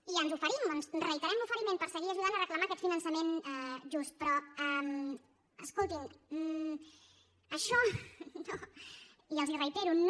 i ens oferim reiterem l’oferiment per seguir ajudant a reclamar aquest finançament just però escoltin això no